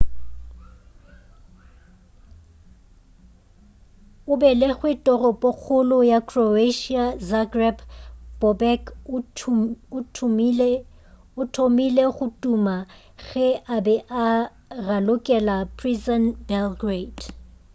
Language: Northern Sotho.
o belegwe toropokgolo ya croatia zagreb bobek o thomile go tuma ge a e be a ralokela partizan belgrade